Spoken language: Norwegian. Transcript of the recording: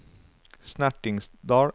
Snertingdal